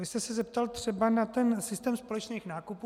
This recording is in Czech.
Vy jste se zeptal třeba na ten systém společných nákupů.